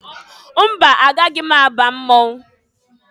Mba! Agaghị m aba mmọnwụ.